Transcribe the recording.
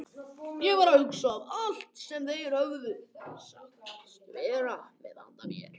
Ég var að hugsa um allt sem þeir höfðu sagst vera með handa mér.